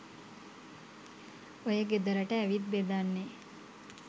ඔය ගෙදරට ඇවිත් බෙදන්නේ.